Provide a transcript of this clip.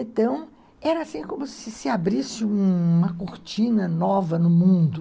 Então, era assim como se se abrisse uma cortina nova no mundo.